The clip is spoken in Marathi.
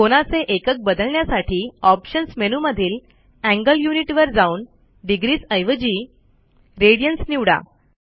कोनाचे एकक बदलण्यासाठी ऑप्शन्स मेनूमधील एंगल युनिट वर जाऊन degreesऐवजी रेडियन्स निवडा